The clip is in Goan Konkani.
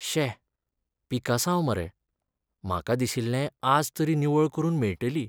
शे, पिकासांव मरे. म्हाका दिशिल्लें आज तरी निवळ करून मेळटली.